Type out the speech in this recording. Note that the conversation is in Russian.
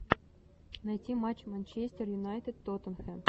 найти матч манчестер юнайтед тоттенхэм